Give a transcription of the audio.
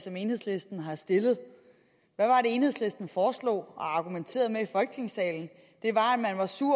som enhedslisten har stillet og enhedslisten foreslog og argumenterede med i folketingssalen det var at man var sur